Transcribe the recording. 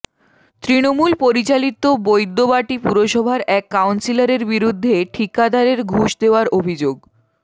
তৃণমূল পরিচালিত বৈদ্যবাটী পুরসভার এক কাউন্সিলরের বিরুদ্ধে ঠিকাদারের ঘুষ নেওয়ার অভিযোগ